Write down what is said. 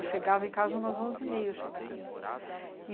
Eu chegava em casa umas onze e meia, eu chegava.